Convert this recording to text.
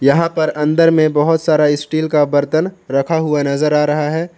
यहां पर अंदर में बहोत सारा स्टील का बर्तन रखा हुआ नजर आ रहा है।